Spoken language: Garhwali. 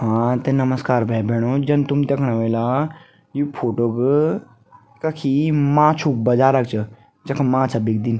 हाँ त नमश्कार भै भेणों जन तुम देखणा ह्वेला यु फोटो क कखी माछु क बजारक च य जखम माछा बिकदिन।